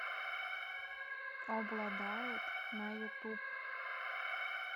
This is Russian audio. обладает на ютуб